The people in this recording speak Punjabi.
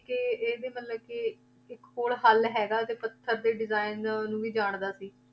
ਕਿ ਇਹਦੀ ਮਤਲਬ ਕਿ ਇੱਕ ਹੋਰ ਹੱਲ ਹੈਗਾ ਤੇ ਪੱਥਰ ਦੇ design ਨੂੰ ਵੀ ਜਾਣਦਾ ਸੀ।